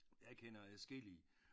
Jeg kender adskillige